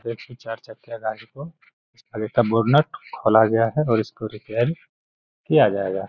देखिए चार चक्कियां गाड़ी को इसका बोनत खोला गया है और इसको रिपेर किया जाएगा।